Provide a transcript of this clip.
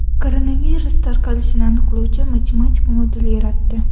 Koronavirus tarqalishini aniqlovchi matematik model yaratdi.